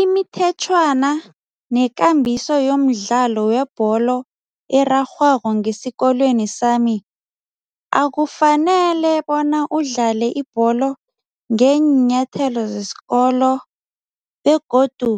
Imithetjhwana nekambiso yomdlalo webholo erarhwako ngesikolweni sami, akufanele bona udlale ibholo ngeenyathelo zesikolo begodu